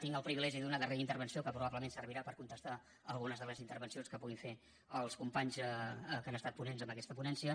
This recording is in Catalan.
tinc el privilegi d’una darrera intervenció que probablement servirà per contestar algunes de les intervencions que puguin fer els companys que han estat ponents en aquest ponència